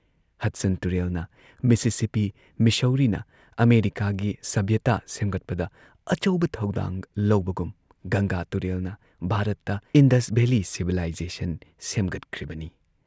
Hudson ꯇꯨꯔꯦꯜꯅ, Mississippi ꯃꯤꯁꯧꯔꯤꯅ ꯑꯃꯦꯔꯤꯀꯥꯒꯤ ꯁꯚ꯭ꯌꯇꯥ ꯁꯦꯝꯒꯠꯄꯗ ꯑꯆꯧꯕ ꯊꯧꯗꯥꯡ ꯂꯧꯕꯒꯨꯝ ꯒꯪꯒꯥ ꯇꯨꯔꯦꯜꯅ ꯚꯥꯔꯠꯇ "ꯏꯟꯗꯁ ꯚꯦꯂꯤ ꯁꯤꯚꯤꯂꯥꯏꯖꯦꯁꯟ" ꯁꯦꯝꯒꯠꯈ꯭ꯔꯤꯕꯅꯤ ꯫